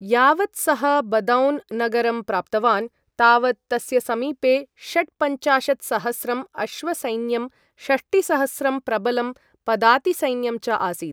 यावत् सः बदौन् नगरं प्राप्तवान्, तावत् तस्य समीपे षट्पञ्चाशत्सहस्रं अश्वसैन्यं, षष्टिसहस्रं प्रबलं पदातिसैन्यं च आसीत्।